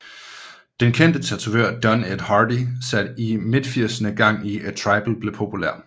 Den kendte tatovør Don Ed Hardy satte i midtfirserne gang i at tribal blev populær